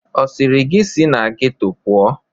Ọ sịrị gị si na geto pụọ?